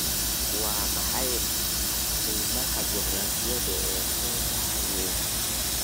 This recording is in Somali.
Waa maxay qiimaha juqraafiyeed ee foolkaanaha weyn?